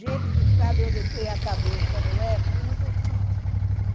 Gente que sabe onde tem a cabeça, não é?